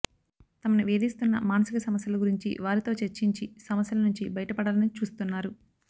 తమని వేధిస్తున్న మానసిక సమస్యల గురించి వారితో చర్చించి సమస్యల నుంచి బయట పడాలని చూస్తున్నారు